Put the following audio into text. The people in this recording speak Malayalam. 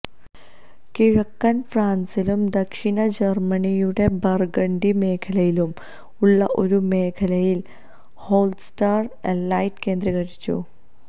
കിഴക്കൻ ഫ്രാൻസിലും ദക്ഷിണ ജർമ്മനിയുടെ ബർഗണ്ടി മേഖലയിലും ഉള്ള ഒരു മേഖലയിൽ ഹോൾസ്റ്റാറ്റ് എലൈറ്റ് കേന്ദ്രീകരിച്ചു